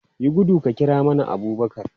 Yi gudu ka kira mana Abubakar!